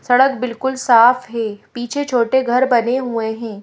सड़क बिल्कुल साफ है पीछे छोटे घर बने हुए हैं।